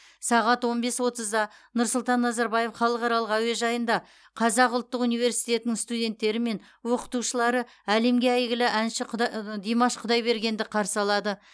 сағат он бес отызда нұрсұлтан назарбаев халықаралық әуежайында қазақ ұлттық өнер университетінің студенттері мен оқытушылары әлемге әйгілі әнші димаш құдайбергенді қарсы алады